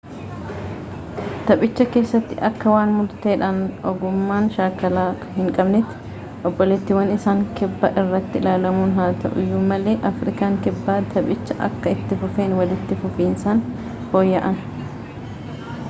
taphicha keessatti akka waan murteedhaan ogummaa shaakalaa hin qabneetti obboleetiwwan isaa kibbaa irratti ilaalamuun haa ta’uuyyu malee afrikaan kibbaa taphiicha akka itti fufeen walitti fufiinsaan fooyya’an